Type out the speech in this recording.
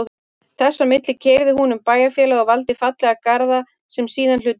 Þess á milli keyrði hún um bæjarfélagið og valdi fallega garða sem síðan hlutu verðlaun.